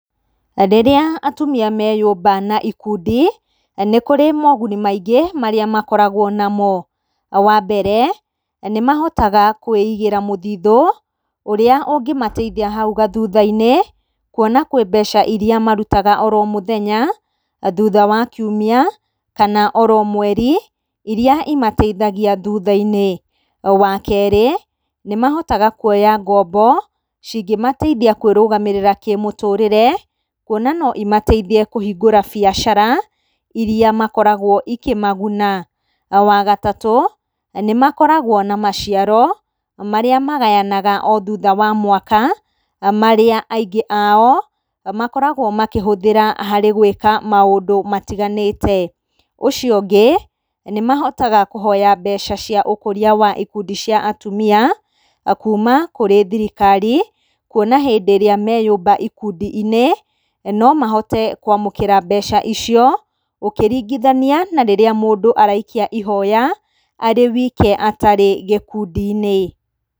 RĨrĩa atumia meyũmba na ikundi, nĩ kũrĩ moguni maingĩ marĩa makoragwo namo. Wa mbere, nĩ mahotaga kwĩigĩra mũthithũ ũrĩa ũngĩmateithia hau gathutha-inĩ kuona kwĩ mbeca irĩa marutaga oro mũthenya thutha wa kiumia kana oro mweri irĩa imateithagia thutha-inĩ. Wa kerĩ, nĩmahotaga kuoya ngombo cingĩmateithia kwĩrũgamĩrĩra kĩmũtũrĩre, kuona no imateithie kũhingũra biacara irĩa makoragwo ikĩmaguna. Wa gatatũ, nĩ makoragwo na maciaro marĩa magayanaga o thutha wa mwaka, marĩa aingĩ ao makoragwo makĩhũthĩra harĩ gwĩka maũndũ matiganĩte. Ũcio ũngĩ, nĩ mahotaga kũhoya mbeca cia ũkũria wa ikundi cia atumia kuma kũrĩ thirikari, kuona hĩndĩ ĩrĩa meyũmba ikundi-inĩ, no mahote kwamũkĩra mbeca icio ũkĩringithania na rĩrĩa mũndũ araikia ihoya arĩ wike atarĩ gĩkundi-inĩ.